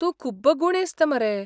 तूं खूब गुणेस्त मरे .